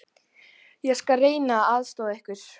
Ég skal reyna að aðstoða ykkur.